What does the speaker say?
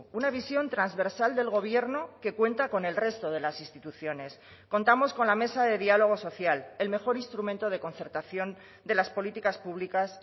una visión transversal del gobierno que cuenta con el resto de las instituciones contamos con la mesa de diálogo social el mejor instrumento de concertación de las políticas públicas